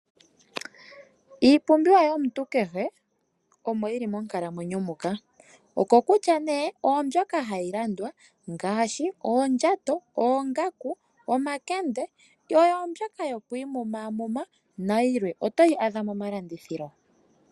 Iipumbiwa yomuntu kehe omo yili monkalamwenyo muka, okokutya nee oyo mbyoka hayi landwa ngaashi oondjato, oongaku, omakende, oyo mbyoka yo ku imumamuma nayilwe otoyi adha momalandithilo.